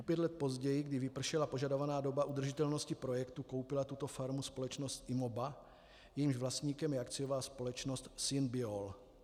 O pět let později, když vypršela požadovaná doba udržitelnosti projektu, koupila tuto farmu společnost Imoba, jejímž vlastníkem je akciová společnost SynBiol.